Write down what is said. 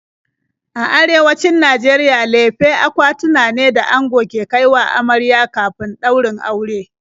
A Arewacin Najeriya lefe akwatuna ne da ango ke kai wa amarya kafin ɗaurin aure.